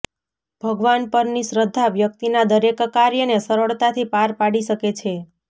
ભગવાન પરની શ્રદ્ધા વ્યક્તિના દરેક કાર્યને સરળતાથી પાર પાડી શકે છે